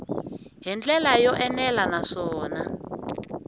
hi ndlela yo enela naswona